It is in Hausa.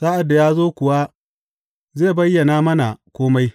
Sa’ad da ya zo kuwa, zai bayyana mana kome.